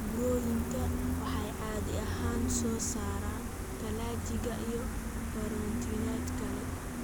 buroyinka waxay caadi ahaan soo saaraan kolajka iyo borotiinada kale.